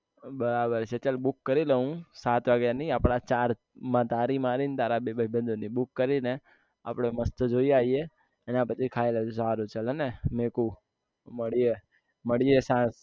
બરાબર છે ચલ book કરી લઉં સાત વાગ્યા ની અપના ચાર માં તારી મારી અને તારા બે ભાઈબંધો ની book કરી ને આપને મસ્ત જઈ આઇયે એના પછી ખાઈ લીસું સારું ચાલે ને મેકુ મળીયે મળીયે સા